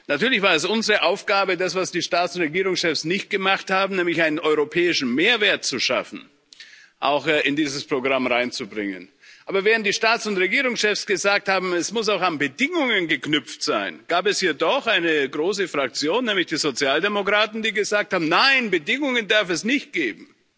Natürlich war es unsere Aufgabe, das, was die Staats und Regierungschefs nicht gemacht haben, nämlich einen europäischen Mehrwert zu schaffen, auch in dieses Programm hineinzubringen. Aber während die Staats und Regierungschefs gesagt haben, dies muss auch an Bedingungen geknüpft sein, gab es hier doch eine große Fraktion, nämlich die Sozialdemokraten, die gesagt hat Nein, Bedingungen darf es nicht geben.